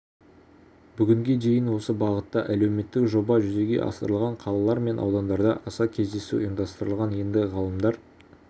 бүгінге дейін осы бағытта әлеуметтік жоба жүзеге асырылған қалалар мен аудандарда аса кездесу ұйымдастырылған енді ғалымдар